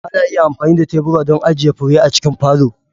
Ana iya amfani da tebura don ajiye fure a cikin falo.